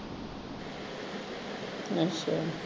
ਅੱਛਾ